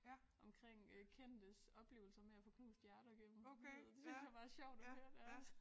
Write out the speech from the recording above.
Omkring øh kendtes oplevelser med at få knust hjerter gennem livet det synes jeg bare er sjovt at høre deres